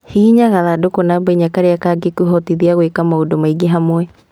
Hihinya gathandũkũ namba inya karia kangikũhotithia gwĩka maũndũ maingĩ hamwe